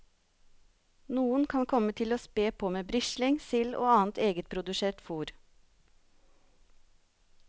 Noen kan komme til å spe på med brisling, sild og annet egetprodusert fòr.